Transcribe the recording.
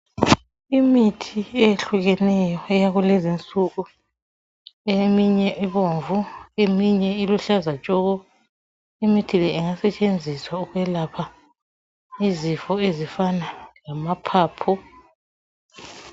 Imithi eyehlukeneyo eyakulezi insuku. Eminye ibomvu, eminye iluhlaza tshoko. Imithi le ingasetshenziswa ukwelapha izifo ezifana lamaphapho.